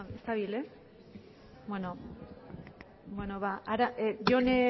ez dabil ez beno ba jone